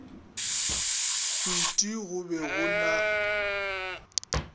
hwiti go be go na